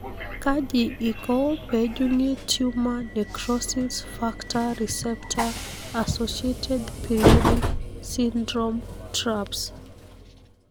kaji iko pejungi tumor necrosis factor receptor associated periodic syndrome (TRAPS) ?